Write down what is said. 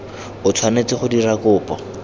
o tshwanetse go dira kopo